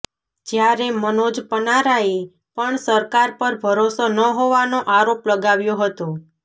જ્યારે મનોજ પનારાએ પણ સરકાર પર ભરોસો ન હોવાનો આરોપ લગાવ્યો હતો